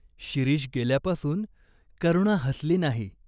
शिरीष गेल्यापासून करुणा हसली नाही.